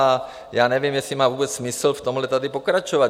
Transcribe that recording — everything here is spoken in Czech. A já nevím, jestli má vůbec smysl v tomhle tady pokračovat.